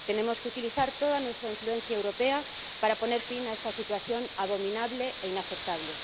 Tenemos que utilizar toda nuestra influencia europea para poner fin a esta situación abominable e inaceptable.